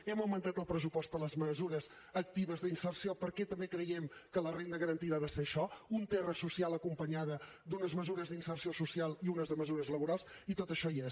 hem augmentat el pressupost per a les mesures actives d’inserció perquè també creiem que la renda garantida ha de ser això un terra social acompanyat d’unes mesures d’inserció social i unes mesures laborals i tot això hi és